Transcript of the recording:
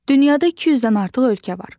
Dünyada 200-dən artıq ölkə var.